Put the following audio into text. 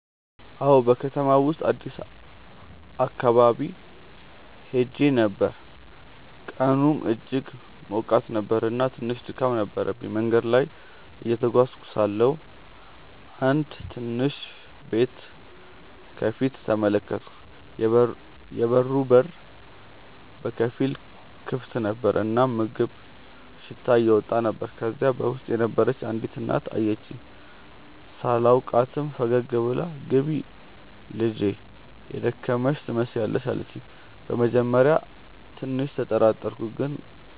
አዎን፣ በከተማው ውስጥ አዲስ አካባቢ ሄዼ ነበር፣ ቀኑም እጅግ ሞቃት ነበር እና ትንሽ ድካም ነበረብኝ። መንገድ ላይ እየተጓዝኩ ሳለሁ አንድ ትንሽ ቤት ከፊት ተመለከትኩ፤ የበሩ በር በከፊል ክፍት ነበር እና የምግብ ሽታ እየወጣ ነበር። ከዚያ በውስጥ የነበረች አንዲት እናት አየችኝ። ሳላውቃትም ፈገግ ብላ “ግቢ ልጄ፣ የደከመሽ ትመስያለሽ” አለችኝ። በመጀመሪያ ትንሽ ተጠራጠርኩ፣ ግን